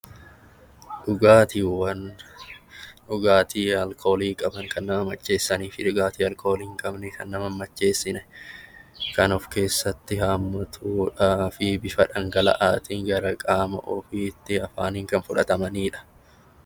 Dhugaatiiwwan dhugaatii alkoolii qaban kan nama macheessanii fi kan alkoolii hin qabne kan nama hin macheessine kan of keessatti hammatudha. Fi bifa dhangala'aatiin gara qaama ofiitti afaaniin kan fudhatamanidha.